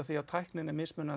tæknin er